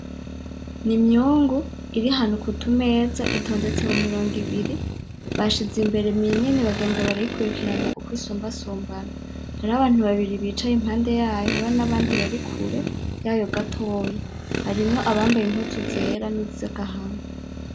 N'imyungu iri ahantu ku tumeza, itondetse mu mirongo ibiri bashize imbere minini bagenda barayikurikiranya uko isumbasumbana. Hari ho abantu babiri bicaye impande yayo hariyo nabandi bari kure yayo gatoya, harimo abambaye impuzu zera ni za gahanga.